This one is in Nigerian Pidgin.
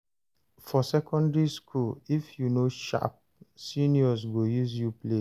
For secondary school, if you no sharp, seniors go use you play